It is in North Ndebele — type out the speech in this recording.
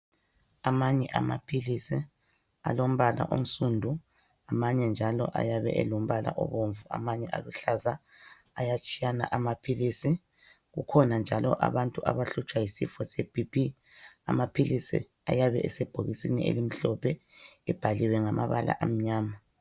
Amanye amaphilisi alombala onsundu, amanye njalo ayabe elombala obomvu. Amanye aluhlaza, ayatshiyana amaphilisi. Kukhona njalo abantu abahlutshwa yisifo seBP, amaphilisi ayabe sebhokisini elimhlophe ebhaliwe ngamabala amnyana.